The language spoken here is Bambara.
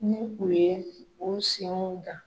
N ye u ye o senw gan.